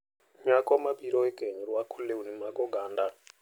Nyako mabiro e keny rwako lewni mag oganda